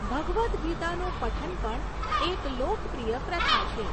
ભગવદ ગીતાનું પઠન પણ એક લોકપ્રિય પ્રથા છે.